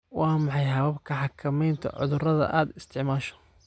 Waa maxay hababka xakamaynta cudurada aad isticmaasho?